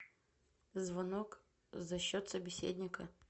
звонок за счет собеседника